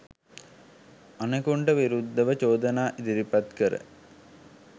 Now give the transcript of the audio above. අනෙකුන්ට විරුද්ධව චෝදනා ඉදිරිපත් කර